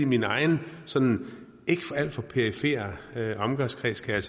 min egen sådan ikke alt for perifere omgangskreds kan